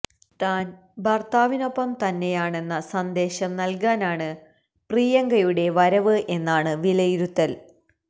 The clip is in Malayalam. താൻ ഭർത്താവിനൊപ്പം തന്നായാണെന്ന സന്ദേശം നൽകാനാണ് പ്രിയങ്കയുടെ വരവ് എന്നാണ് വിലയിരുത്തൽ